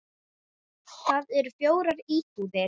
Þar eru fjórar íbúðir.